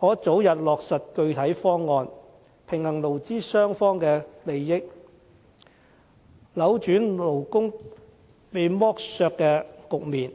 可早日落實具體方案，平衡勞資雙方的利益，扭轉勞工被剝削的局面。